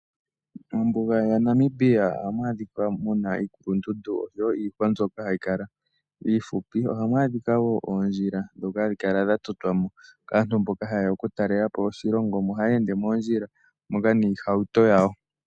Mombuga yaNamibia ohamu adhika muna iikulundundu osho wo iihwa mbyoka hayi kala iihupi. Ohamu adhika woo oondjila ndhoka hadhi kala dha totwa mo kaantu mboka haye ya okutalela po oshilongo, omo haya ende moondjila moka niihauto yawo.